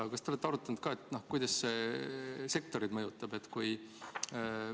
Aga kas te olete arutanud ka seda, kuidas see sektoreid mõjutab?